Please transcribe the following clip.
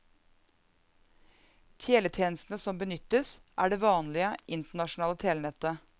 Teletjenestene som benyttes, er det vanlige, internasjonale telenettet.